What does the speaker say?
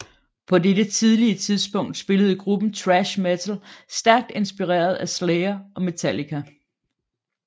På dette tidlige tidspunkt spillede gruppen thrash metal stærkt inspireret af Slayer og Metallica